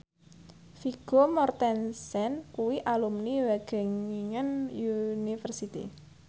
Vigo Mortensen kuwi alumni Wageningen University